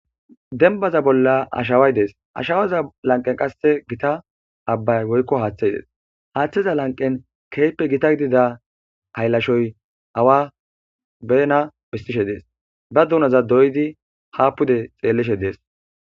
denbaza bolla ashaway dees ashawaza lanqen qasse gita abbay woykko haaththey dees haaththeza lanqen keyppe gita gidida hayllashoy awa beena bistishe dees ba duunaza doydi haapude xeellishe dees